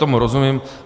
Tomu rozumím.